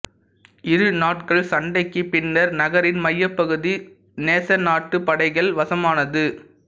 இரு நாட்கள் சண்டைக்குப் பின்னர் நகரின் மையப்பகுதி நேசநாட்டுப் படைகள் வசமானது